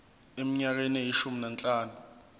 eminyakeni eyishumi nanhlanu